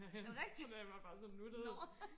er det rigtigt nåå